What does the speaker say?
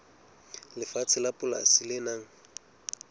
lefatshe la polasi le nang